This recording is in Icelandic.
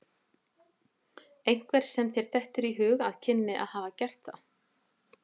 Einhver sem þér dettur í hug að kynni að hafa gert það?